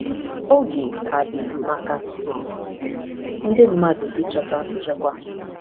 Oge ka dị maka ndị mmadụ ịchọta nchekwa.